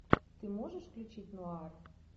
ты можешь включить нуар